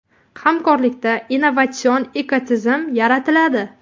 Hamkorlikda innovatsion ekotizim yaratiladi.